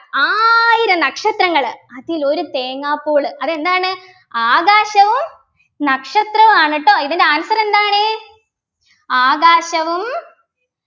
ആയിരം നക്ഷത്രങ്ങള് അതിൽ ഒരു തേങ്ങാപ്പൂള് അതെന്താണ് ആകാശവും നക്ഷത്രവും ആണ് ട്ടോ ഇതിൻ്റെ answer എന്താണ് ആകാശവും